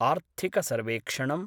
आर्थिक सर्वेक्षणम्